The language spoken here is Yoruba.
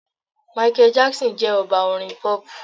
Michael Jackson jẹ́ Ọba orin Pop.